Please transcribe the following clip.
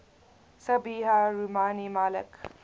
sabiha rumani malik